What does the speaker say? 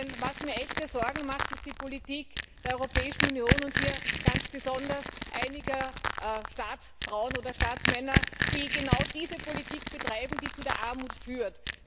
Denn was mir echte Sorgen macht, ist die Politik der Europäischen Union, und hier ganz besonders einiger Staatsfrauen oder Staatsmänner, die genau diese Politik betreiben, die zu der Armut führt.